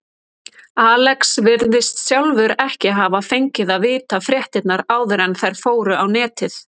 Alex virðist sjálfur ekki hafa fengið að vita fréttirnar áður en þær fóru á netið.